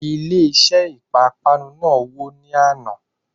Ilé iṣé ìpápánu náà wò ní àná.